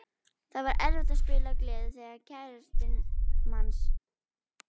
Það var erfitt að spila af gleði þegar kærastinn manns.